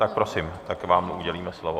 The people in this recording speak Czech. Tak prosím, tak vám udělíme slovo.